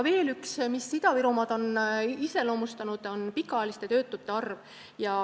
Veel üks asi, mis on Ida-Virumaad iseloomustanud, on pikaajaliste töötute arv.